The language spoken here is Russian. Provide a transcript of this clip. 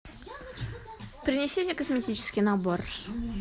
принесите косметический набор